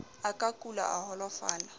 a ka kula a holofala